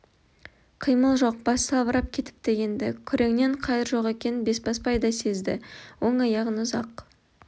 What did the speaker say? қимыл жоқ басы салбырап кетіпті енді күреңнен қайыр жоқ екенін бесбасбай да сезді оң аяғын ұзақ